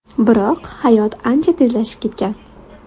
Biroq... hayot ancha tezlashib ketgan.